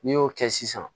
N'i y'o kɛ sisan